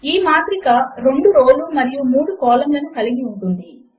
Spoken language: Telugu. ఈ మాత్రిక 2 రో లు మరియు 3 కాలమ్ లను కలిగి ఉంటుంది